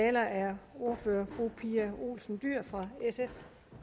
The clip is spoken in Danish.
taler er ordfører fru pia olsen dyhr fra sf